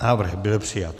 Návrh byl přijat.